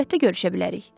Əlbəttə görüşə bilərik.